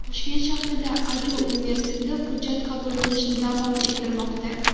Toshkent shahridagi Adju universiteti hujjat qabul qilishni davom ettirmoqda.